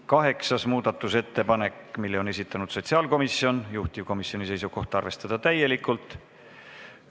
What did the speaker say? Kaheksanda muudatusettepaneku on esitanud sotsiaalkomisjon, juhtivkomisjoni seisukoht on arvestada seda täielikult.